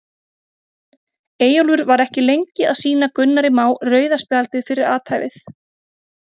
Eyjólfur var ekki lengi að sýna Gunnari Má rauða spjaldið fyrir athæfið.